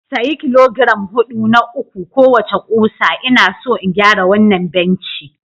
Sayi kilogiram hudu na uku kowace ƙusa ina so in gyara wannan benci